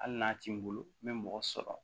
Hali n'a ti n bolo n be mɔgɔ sɔrɔ